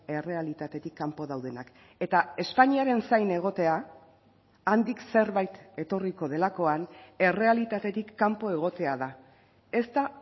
errealitatetik kanpo daudenak eta espainiaren zain egotea handik zerbait etorriko delakoan errealitatetik kanpo egotea da ez da